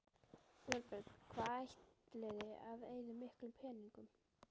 Þorbjörn: Hvað ætliði að eyða miklum peningum?